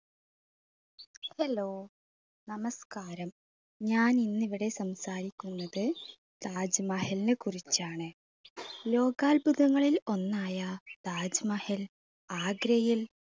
hello, നമസ്കാരം. ഞാൻ ഇന്നിവിടെ സംസാരിക്കുന്നത് താജ് മഹലിനെ കുറിച്ചാണ് ലോകാത്ഭുതങ്ങളിൽ ഒന്നായ താജ് മഹൽ ആഗ്രയിൽ